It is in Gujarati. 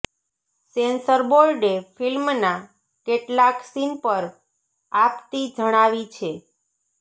સેન્સર બોર્ડે ફિલ્મના કેટલાક સીન પર આપતી જણાવી છે